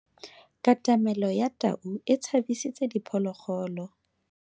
Katamelo ya tau e tshabisitse diphologolo.